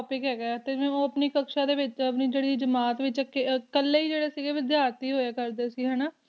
topic ਤੇ ਊ ਆਪਣੀ ਕਕ੍ਸ਼ਾ ਦੇ ਵਿਚ ਆਪਣੀ ਜੇਰੀ ਜਮਾਤ ਦੇ ਵਿਚ ਕਾਲੀ ਈ ਜੇਰੇ ਸੀਗੇ ਵਿਧ੍ਯਰਥੀ ਹੋਯਾ ਕਰਦੇ ਸੀ ਹੇਨਾ